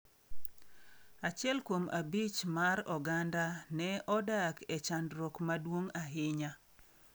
Achiel kuom abich mar oganda ne odak e chandruok maduong’ ahinya.